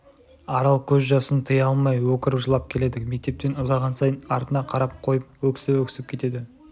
арал көз жасын тыя алмай өкіріп жылап келеді мектептен ұзаған сайын артына қарап қойып өксіп-өксіп кетеді